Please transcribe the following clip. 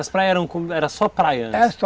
As praias eram com, eram só praias antes? Era só.